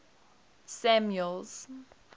samuel's